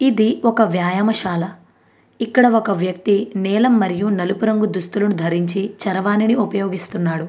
ఇది ఒక వ్యాయామశాల ఇక్కడ ఒకవ్యక్తి నీలం మరియు నలుపు రంగు దుస్తులు ధరించి చరవానిని ఉపయోగిస్తున్నాడు --